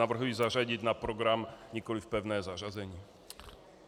Navrhuji zařadit na program, nikoliv pevné zařazení.